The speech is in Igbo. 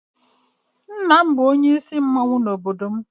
nna m bu onye isi mmanwu n'obodo m.